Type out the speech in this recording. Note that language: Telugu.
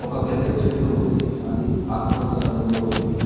ఒక పెద్ద చెట్టు ఉంది అది ఆకు పచ్చ రంగులో ఉంది.